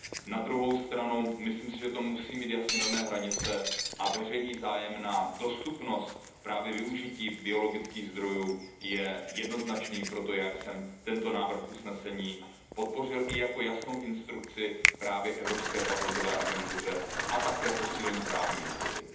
Na druhou stranu myslím si, že to musí mít jasně dané hranice a veřejný zájem na dostupnosti využití právě biologických zdrojů je jednoznačný. Proto já jsem tento návrh usnesení podpořil i jako jasnou instrukci právě Evropskému patentovému úřadu a také posílení právní jistoty.